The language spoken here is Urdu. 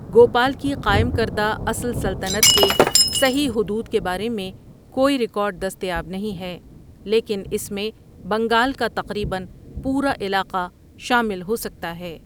گوپال کی قائم کردہ اصل سلطنت کے صحیح حدود کے بارے میں کوئی ریکارڈ دستیاب نہیں ہے، لیکن اس میں بنگال کا تقریباً پورا علاقہ شامل ہو سکتا ہے۔